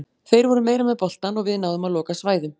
Þeir voru meira með boltann og við náðum að loka svæðum.